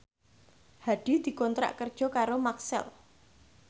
Hadi dikontrak kerja karo Maxell